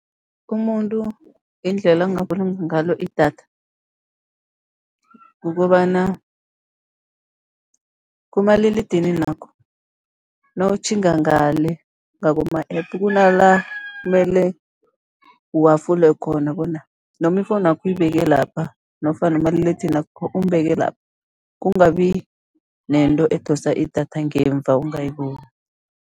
Umuntu indlela angabulunga ngalo idatha, kukobana kumaliledininakho, nawutjhinga ngale ngakuma-App, kuna la mele uhafule khona bona, noma ifowunu yakho uyibeke lapha, nofana umaliledinini umbeke lapha, kungabi nento edosa idatha ngemva ungayiboni.